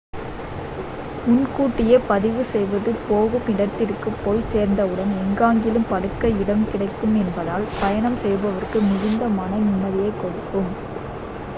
முன்கூட்டியே பதிவு செய்வது போகும் இடத்திற்குப் போய் சேர்ந்தவுடன் எங்காகிலும் படுக்க இடம் கிடைக்கும் என்பதால் பயணம் செய்பவருக்கு மிகுந்த மன நிம்மதியைக் கொடுக்கும்